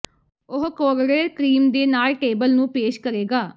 ਉਹ ਕੋਰੜੇ ਕਰੀਮ ਦੇ ਨਾਲ ਟੇਬਲ ਨੂੰ ਪੇਸ਼ ਕਰੇਗਾ